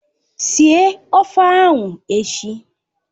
Esie ofe ahụ echi!